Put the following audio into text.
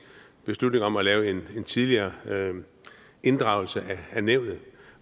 beslutning om at lave en tidligere inddragelse af nævnet